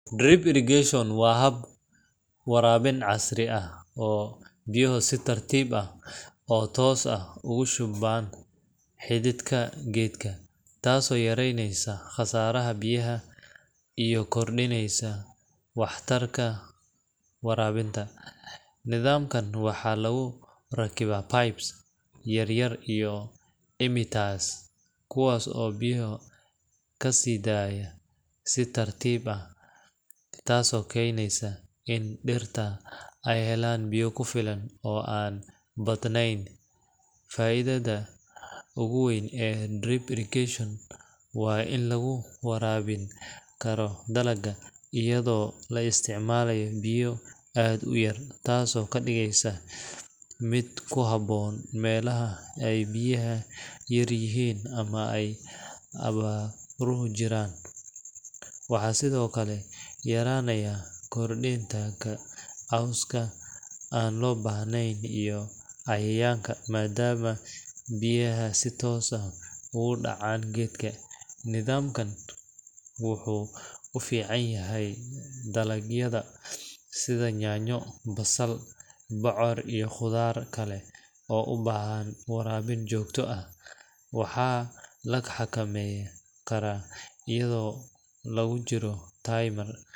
drip irrigation waa hab waraabin casri ah oo biyaha si tartib ah oo toos ugu shubman xididka gedka, taaso yareyneysa qasaraha biyaha iyo kordineysa waxtarka warabinta, nidamkan waxaa lugu rakiba pipes yar yar iyo emitters kuwaas oo biyaha kasidaya si tartib ah taaso keneysa in dhirta ay helaan biya kufilan oo an badneyn fa'iidada ogu weyn drip irrigation waa in lugu warabin karo dalagu iyado laa isticmaalayo biya aad u yar taaso kadhigeysa mid kuhaboon Melaha ay biyaha yar yihiin ama dhul ujiraan, waxaa sidokale yaraana koritanka bixitanka coska an loo bahneyn iyo cayayanka maadama biyaha si toos ah ogu dhacaan gedka, nidamkan wuxuu u fican yahay dalagyada sida nyaanyo, basal, bucoor iyo qudaar kale oo ubahana warabin jogto ah, waxa la xakameynkara ayadao logu jiro time yar